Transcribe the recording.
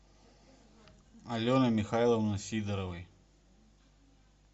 алены михайловны сидоровой